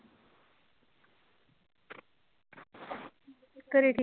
ਘਰੇ ਕੀ